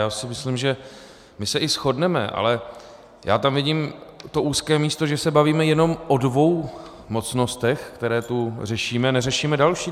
Já si myslím, že my se i shodneme, ale já tam vidím to úzké místo, že se bavíme jenom o dvou mocnostech, které tu řešíme, neřešíme další.